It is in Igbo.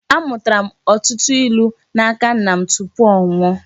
Amụtara m ọtụtụ ilu n'aka nna m tupu ọ nwụọ